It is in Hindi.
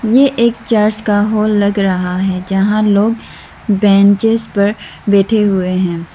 ये एक चर्च का हॉल लग रहा है जहां लोग बेंचेस पर बैठे हुए हैं।